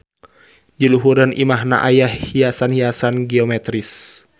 Di luhureun imahna aya hiasan-hiasan geometris.